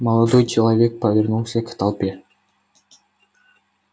молодой человек повернулся к толпе